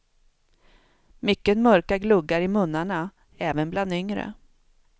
Mycket mörka gluggar i munnarna, även bland yngre.